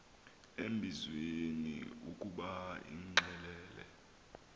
embizweni ukuba imxelele